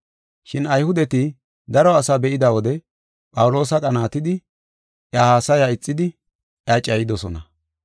Shin Ayhudeti daro asaa be7ida wode Phawuloosa qanaatidi iya haasaya ixidi iya cayidosona.